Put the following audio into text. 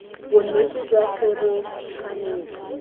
bonnete jwa se bo tshwanetse